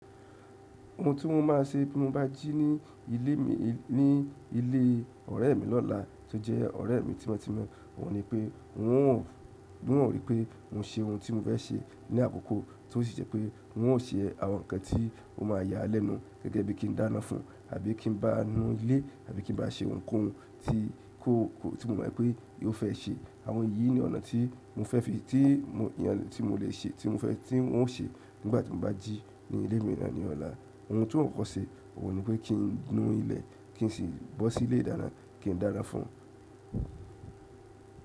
Ohun tí mo máa ṣe bí mo bá jí ní ilé mi, ní ilé ọ̀rẹ́ mi lọ́la tí ó jẹ́ ọ̀rẹ́ mi tímọ́tímọ́, òun ni pé n o, n ò ríi pé mo ṣe ohun tí mo fẹ́ ṣe ní àkókò tí ó sì jẹ́ pé n ò ṣe àwọn nǹkan tí ó máa yà lẹ́nu gẹ́gẹ́ bí kí n dáná fún, àbí kí n bá a nu ilé, àbí kí n bá a ṣe ohun kan tí ko, tí mo mọ̀ pé yóò fẹ́ ṣe. Àwọn yìí ni ọ̀nà tí mo fẹ́ fi, tí mo, eyàn tí mo lè ṣe, tí mo fẹ́ tí n ó ṣe nígbà tí mo bá jí ní ilé miran ọ̀la. Ohun tí n o kokò ṣe òun ni pé kí n nu ilẹ̀, kí n sì bọ́ sí ilé ìdáná, kí n dáná fún-un.